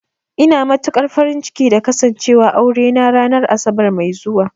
Ina matukar farin ciki da Kasancewar aurena ranar Asabar mai zuwa